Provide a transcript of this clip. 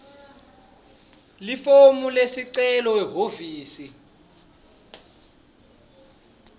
lifomu lesicelo ehhovisi